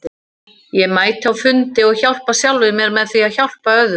Ég mæti á fundi og hjálpa sjálfum mér með því að hjálpa öðrum.